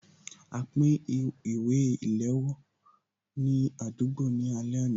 A pín ìwé ìléwọ́ ní àdúgbò ní alẹ́ àná